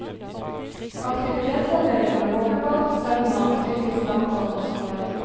Aktivitetsavdeling med boblebad, sauna, tyrkisk dampbad og solarium.